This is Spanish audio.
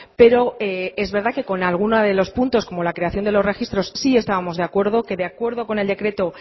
pero es verdad que con alguno de los puntos como la creación de los registros sí estábamos de acuerdo que de acuerdo con el decreto